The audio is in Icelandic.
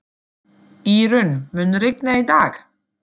Írunn, mun rigna í dag?